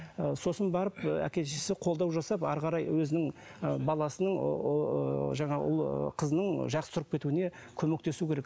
сосын барып ы әке шешесі қолдау жасап ары қарай өзінің ы баласының ыыы жаңағы қызының жақсы тұрып кетуіне көмектесуі керек